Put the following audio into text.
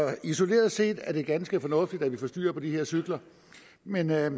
isoleret set er det ganske fornuftigt at vi får styr på de her cykler men jeg